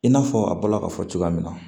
I n'a fɔ a bɔla ka fɔ cogoya min na